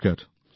নমস্কার